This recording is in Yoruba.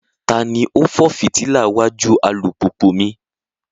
Tani o fọ fitila wajú alupupu mi?